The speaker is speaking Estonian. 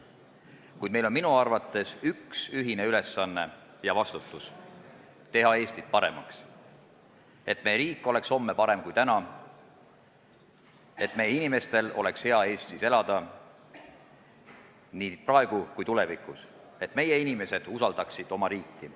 Kuid minu arvates on meil üks ühine ülesanne ja vastutus: teha Eestit paremaks, et meie riik oleks homme parem kui täna, et meie inimestel oleks Eestis hea elada nii praegu kui ka tulevikus ning et meie inimesed usaldaksid oma riiki.